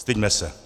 Styďme se.